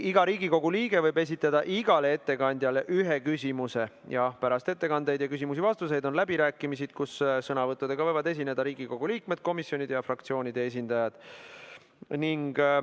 Iga Riigikogu liige võib esitada igale ettekandjale ühe küsimuse ja pärast ettekandeid ning küsimusi ja vastuseid on läbirääkimised, kus sõnavõttudega võivad esineda Riigikogu liikmed, komisjonide ja fraktsioonide esindajad.